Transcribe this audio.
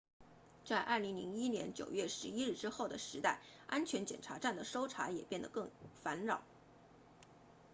在2001年9月11日之后的时代安全检查站的搜查也变得更烦扰